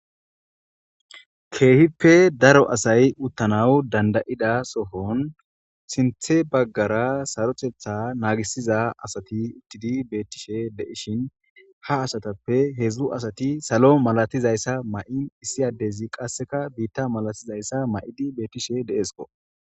Keehippe daro asay uttanaw danda'ida sohon sinthe baggara sarotetha naagisiza asati uttidi beetishe de'ishin ha asatappe hedzu asati salo malatizayssa ma'i issi addezi qaseka biita malatizayssa ma'i beetishe de'esko.